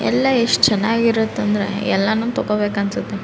ಎಲ್ಲ ಎಸ್ಟ್ ಚೆನ್ನಾಗಿರುತ್ತೆ ಅಂದ್ರೆ ಎಲ್ಲಾನು ತಕೋಬೇಕು ಅನ್ಸುತ್ತೆ.